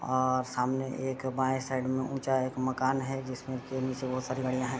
अ अ सामने एक बांये साइड में एक ऊँचा एक मकान है जिसमें के नीचे बहुत सारी गाड़ियाँ हैं।